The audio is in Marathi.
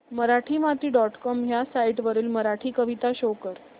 मराठीमाती डॉट कॉम ह्या साइट वरील मराठी कविता शो कर